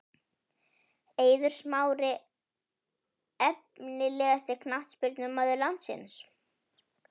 Eiður Smári Efnilegasti knattspyrnumaður landsins?